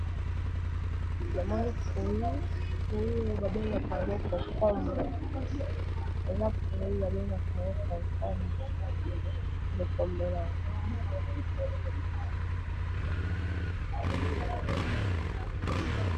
Namoni fruit, eza fruit oyo ba bengaka concombre nde namoni awa.